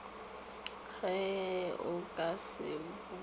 ge o ka se boute